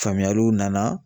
Faamuyaliw nana